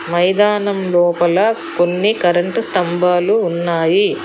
మైదానం లోపల కొన్ని కరెంటు స్తంభాలు ఉన్నాయి.